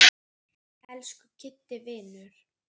Elsku Kiddi vinur.